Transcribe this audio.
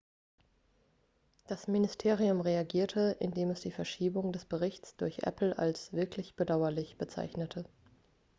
das ministerium reagierte indem es die verschiebung des berichts durch apple als wirklich bedauerlich bezeichnete